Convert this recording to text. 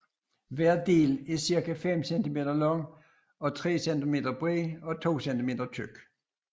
Hver del er cirka 5 cm lang og 3 cm bred og 2 cm tyk